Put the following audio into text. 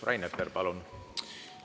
Rain Epler, palun!